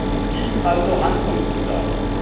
Es gibt also Handlungsbedarf.